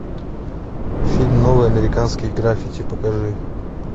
фильм новые американские граффити покажи